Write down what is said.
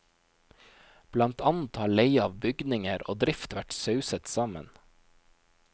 Blant annet har leie av bygninger og drift vært sauset sammen.